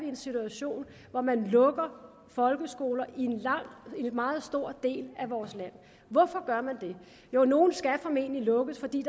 en situation hvor man lukker folkeskoler i en meget stor del af vores land hvorfor gør man det jo nogle skal formentlig lukkes fordi